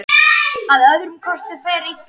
Að öðrum kosti fer illa.